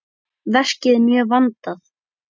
Verkið er mjög vandað.